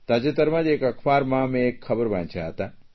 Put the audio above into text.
તાજેતરમાં જ એક અખબારમાં મેં એક ખબર વાંચ્યા હતા